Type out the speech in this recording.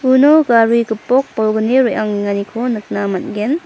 uno gari gipok bolgni re·angenganiko nikna man·gen.